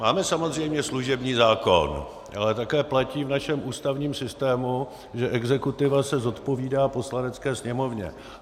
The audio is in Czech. Máme samozřejmě služební zákon, ale také platí v našem ústavním systému, že exekutiva se zodpovídá Poslanecké sněmovně.